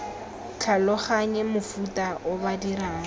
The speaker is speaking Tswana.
tlhaloganye mofuta o ba dirang